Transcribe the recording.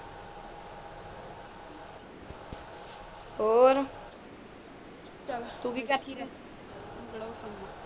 ਔਰ ਚਲ ਤੂੰ ਵੀ ਬੈਠੀ ਰਾਹ